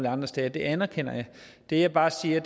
andre steder det anerkender jeg det jeg bare siger